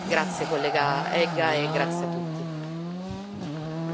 Mi auguro che vengano fatti gli sforzi necessari per colmare questi vuoti.